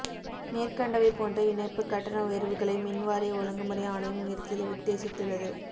மேற்கண்டவை போன்ற இணைப்புக் கட்டண உயர்வுகளை மின் வாரிய ஒழுங்குமுறை ஆணையம் உயர்த்த உத்தேசித்துள்ளது